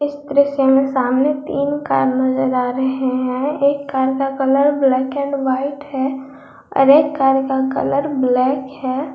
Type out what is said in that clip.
इस दृश्य में सामने तीन कार नजर आ रहे हैं एक कार का कलर ब्लैक एंड व्हाइट है और एक कार का कलर ब्लैक है।